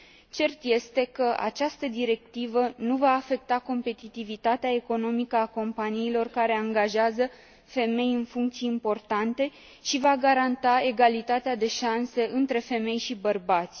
Cert este că această directivă nu va afecta competitivitatea economică a companiilor care angajează femei în funcții importante și va garanta egalitatea de șanse între femei și bărbați.